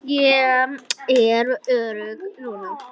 Ég er örugg núna.